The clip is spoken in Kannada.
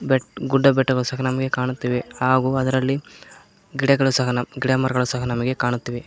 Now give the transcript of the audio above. ಬೆಟ್ ಗುಡ್ಡ ಬೆಟ್ಟಗಳು ಸಹ ನಮಗೆ ಕಾಣುತ್ತಿವೆ ಹಾಗು ಅದರಲ್ಲಿ ಗಿಡಗಳು ಸಹ ಗಿಡಮರಗಳು ಸಹ ನಮಗೆ ಕಾಣುತ್ತಿವೆ.